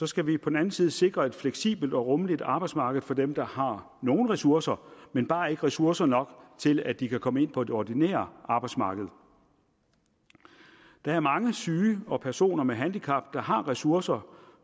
skal vi på den anden side sikre et fleksibelt og rummeligt arbejdsmarked for dem der har nogle ressourcer men bare ikke ressourcer nok til at de kan komme ind på det ordinære arbejdsmarked der er mange syge og personer med handicap der har ressourcer